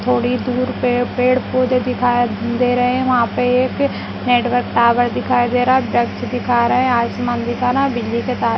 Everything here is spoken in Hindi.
थोड़ी दूर पे पेड़ पौधे दिखाई दे रहे हैं वहाँ पे एक नेटवर्क टावर दिखाई दे रहा है वृक्ष दिखा रहें हैं आसमान दिखा रहे बिजली के तार--